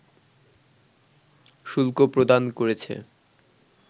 শুল্ক প্রদান করেছে